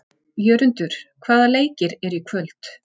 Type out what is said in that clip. Jörundur, hvaða leikir eru í kvöld?